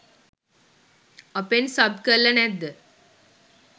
අපෙන් සබ් කරල නැද්ද.